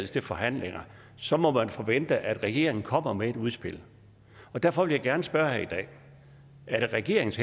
til forhandlinger så må man forvente at regeringen kommer med et udspil derfor vil jeg gerne spørge i dag er det regeringens